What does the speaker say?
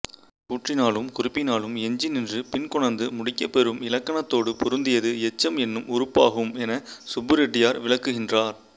கூற்றினாலும் குறிப்பினாலும் எஞ்சி நின்று பின் கொணர்ந்து முடிக்கப்பெறும் இலக்கணத்தோடு பொருந்தியது எச்சம் என்னும் உறுப்பாகும்என சுப்புரெட்டியார் விளக்குகின்றார்